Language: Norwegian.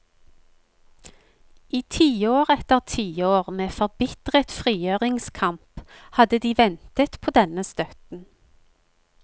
I tiår etter tiår med forbitret frigjøringskamp hadde de ventet på denne støtten.